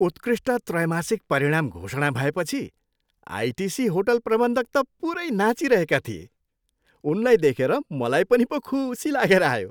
उत्कृष्ट त्रैमासिक परिणाम घोषणा भएपछि आइटिसी होटल प्रबन्धक त पुरै नाचिरहेका थिए। उनलाई देखेर मलाई पनि पो खुसी लागेर आयो।